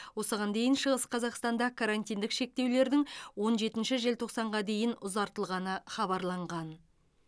осыған дейін шығыс қазақстанда карантиндік шектеулердің он жетінші желтоқсанға дейін ұзартылғаны хабарланған